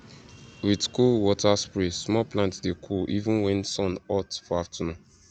with cool water spray small plants dey cool even when sun hot for afternoon